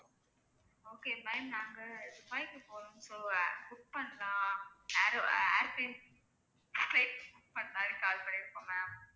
okay ma'am நாங்க துபாய்க்கு போறோம் so ஆஹ் book பண்ணலாம் பண்ணலாம்னு call பண்ணிருக்கோம் ma'am